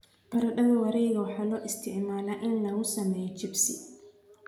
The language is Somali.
Baradhada wareegga waxaa loo isticmaalaa in lagu sameeyo chipsi.